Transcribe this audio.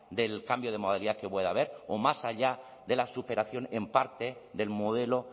del cambio de modalidad que pueda haber o más allá de la superación en parte del modelo